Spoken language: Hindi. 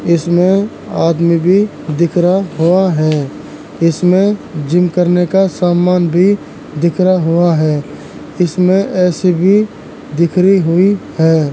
इसमें आदमी भी दिख रहा हुआ है। इसमें जिम करने का समान भी दिख रहा हुआ है। इसमें एसी भी दिखरी हुयी है।